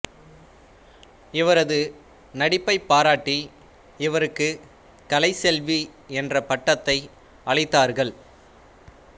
இவரது நடிப்பை பாராட்டி இவருக்கு கலைச்செல்வி என்ற பட்டத்தை அளித்தார்கள்